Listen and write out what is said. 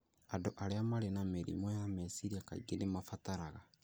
Andũ arĩa marĩ na mĩrimũ ya meciria kaingĩ nĩ mabataraga